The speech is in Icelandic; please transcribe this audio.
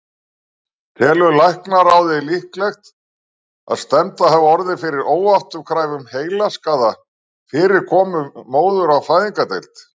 Telur læknaráð líklegt, að stefnda hafi orðið fyrir óafturkræfum heilaskaða fyrir komu móður á fæðingardeild?